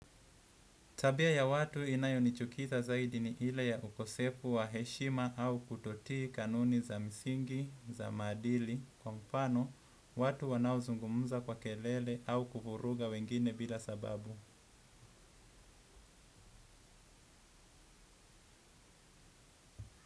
Tabia ya watu inayonichukiza zaidi ni ile ya ukosefu wa heshima au kutotii kanuni za msingi, za maadili, kwa mfano watu wanaozungumza kwa kelele au kuvuruga wengine bila sababu.